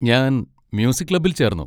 ഞാൻ മ്യൂസിക് ക്ലബ്ബിൽ ചേർന്നു.